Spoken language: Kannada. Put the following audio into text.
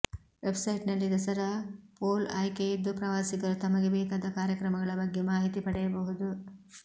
ವೆಬ್ಸೈಟ್ನಲ್ಲಿ ದಸರಾ ಪೋಲ್ಆಯ್ಕೆಯಿದ್ದು ಪ್ರವಾಸಿಗರು ತಮಗೆ ಬೇಕಾದ ಕಾರ್ಯಕ್ರಮಗಳ ಬಗ್ಗೆ ಮಾಹಿತಿ ಪಡೆಯಬಹುದು